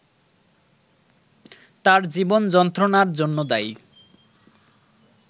তার জীবন যন্ত্রণার জন্য দায়ী